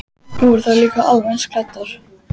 Voru þær líka alveg eins klæddar?